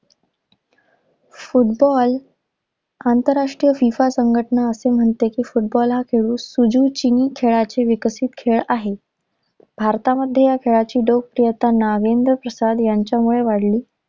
Football आंतरराष्ट्रीय FIFA संघटना असे म्हणते की फुटबॉल हा खेळ कुजू चिनी खेळाचे विकसित खेळ आहे. भारतामध्ये ह्या खेळाची लोकप्रियता नागेंद्र प्रसाद ह्यांच्यामुळे वाढली.